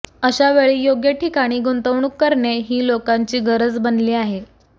अशावेळी योग्य ठिकाणी गुंतवणूक करणे ही लोकांची गरज बनली आहे